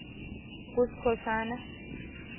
kuskhosana